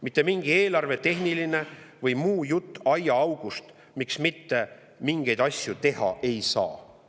Mitte mingi eelarvetehniline või mingi muu jutt aiaaugust, miks mitte mingeid asju teha ei saa.